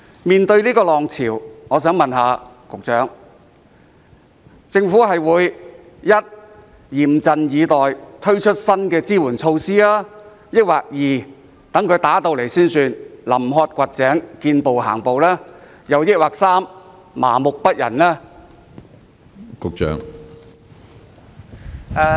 面對這個浪潮，我想問局長:政府將會一嚴陣以待，推出新的支援措施；二到出現失業潮才臨渴掘井，見步行步；還是三麻木不仁呢？